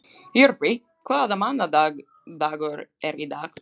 Jörvi, hvaða mánaðardagur er í dag?